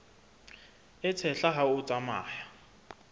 e tshehla ha o tsamaya